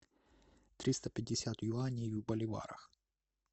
триста пятьдесят юаней в боливарах